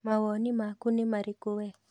Mawoni maku nĩ marĩkũ wee?